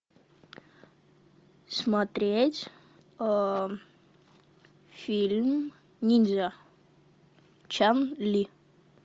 смотреть фильм ниндзя чан ли